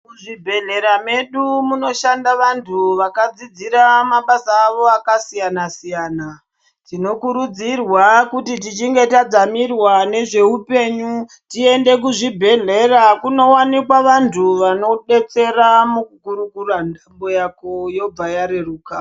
Muzvibhedhlera medu muno Shanda vantu vakadzidzira mabasa awo akasiyana siyana tinokurudzirwa kuti tichinge tadzamirwa nezvehupenyu tiende kuzvibhedhlera kunowanikwa vantu vanodetsera mukukurukura nhamo Yako wobva reruka.